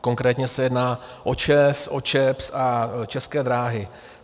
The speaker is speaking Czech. Konkrétně se jedná o ČEZ, o ČEPS a České dráhy.